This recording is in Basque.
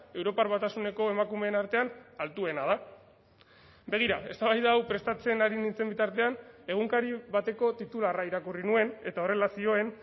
europar batasuneko emakumeen artean altuena da begira eztabaida hau prestatzen ari nintzen bitartean egunkari bateko titularra irakurri nuen eta horrela zioen